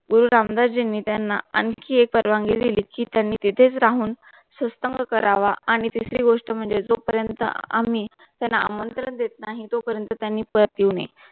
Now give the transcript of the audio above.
गुरु रामदास जींनी त्यांना आणखी एक परवानगी दिली कि त्यांनी तेथेच राहून सत्संग करावा आणि तीसरी गोष्ट म्हणजे जोपर्यंत आम्ही त्यांना आमंत्रण देत नाही तो पर्यंत त्यांनी परत येऊ नये